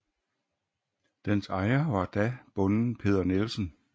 Dens ejer var da bonden Peder Nielsen